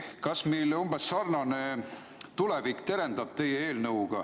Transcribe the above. Kas meil terendab teie eelnõuga ees umbes sarnane tulevik?